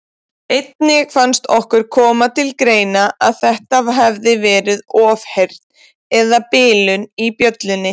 Einnig fannst okkur koma til greina að þetta hefði verið ofheyrn eða bilun í bjöllunni.